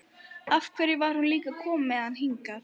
Af hverju var hún líka að koma með hann hingað?